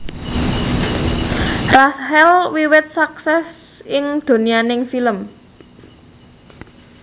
Rachel wiwit suksès ing donyaning film